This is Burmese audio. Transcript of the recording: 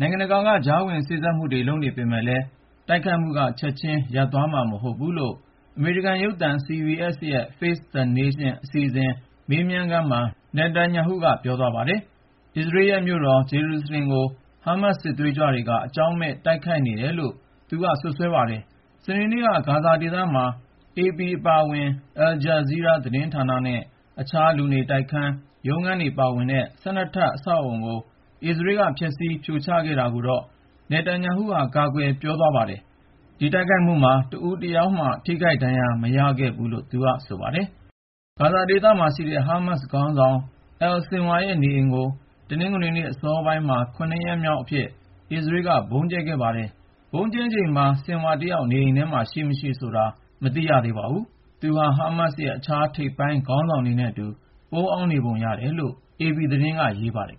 နိုင်ငံတကာက ကြားဝင် စေ့စပ်မှုတွေ လုပ်နေပေမယ့်လည်း တိုက်ခိုက်မှုက ချက်ချင်းရပ်သွားမှာ မဟုတ်ဘူးလို့ အမေရိကန်ရုပ်သံ CBS ရဲ့ “Face the Nation” အစီအစဉ် မေးမြန်းခန်းမှာ Netanyahu က ပြောသွားပါတယ်။ အစ္စရေးလ်ရဲ့မြို့တော် ဂျေရုဆလင်ကို ဟားမတ်စ် စစ်သွေးကြွတွေက အကြောင်းမဲ့ တိုက်ခိုက်နေတယ်လို့ Netanyahu က ပြောပါတယ်။ စနေနေ့က ဂါဇာဒေသမှာ AP အပါအဝင် Aljazeera သတင်းဌာနနဲ့ အခြား လူနေတိုက်ခန်းရော၊ ရုံးခန်းတွေပါရှိတဲ့ ၁၂ ထပ် အဆောက်အဦကို အစ္စရေးလ်က ဖျက်ဆီးဖြိုချခဲ့တာကိုတော့ Netanyahu က ကာကွယ်ပြောကြားသွားပါတယ်။ ဒီတိုက်ခိုက်မှုမှာ တဦးတယောက်မျှ ထိခိုက်ဒဏ်ရာ မရခဲ့ဘူးလို့လည်း သူက ပြောသွားတာပါ။ ဂါဇာဒေသမှာရှိတဲ့ ဟားမတ်စ်ခေါင်းဆောင် Yehya Al-Sinwar ရဲ့ နေအိမ်ကို တနင်္ဂနွေ အစောပိုင်းမှာ ၇ ရက်မြောက်အဖြစ် အစ္စရေးလ်က ဗုံးကြဲခဲ့ပါတယ်။ ဗုံးကြဲချိန်မှာ Sinwar တယောက် နေအိမ်ထဲ ရှိမရှိဆိုတာ ရှင်းရှင်းလင်းလင်း မသိရသေးပါဘူး။ သူဟာ ဟားမတ်စ်ရဲ့ အခြား ထိပ်ပိုင်းခေါင်းဆောင်တွေနဲ့အတူ ပုန်းအောင်းနေပုံရတယ်လို့ AP သတင်းက ရေးပါတယ်